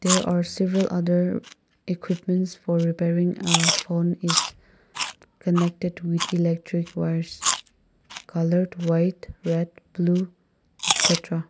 they are civil other equipments for repairing a phone is connected to a electric wires coloured white red blue excetera